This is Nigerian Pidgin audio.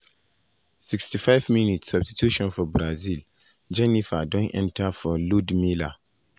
65’ substitution for brazil jheniffer done enta for ludmila.